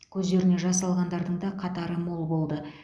көздеріне жас алғандардың да қатары мол болды